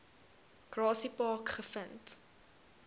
grassy park gevind